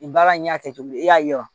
Nin baara in y'a kɛ cogo di i y'a yira